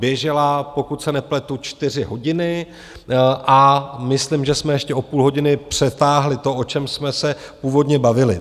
Běžela, pokud se nepletu, čtyři hodiny a myslím, že jsme ještě o půl hodiny přetáhli to, o čem jsme se původně bavili.